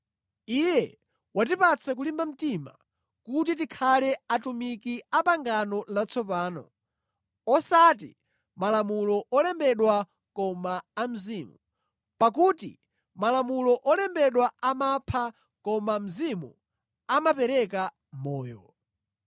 Iye watipatsa kulimba mtima kuti tikhale atumiki a pangano latsopano, osati malamulo olembedwa koma a Mzimu; pakuti malamulo olembedwa amapha koma Mzimu amapereka moyo.